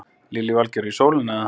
Lillý Valgerður: Í sólina eða?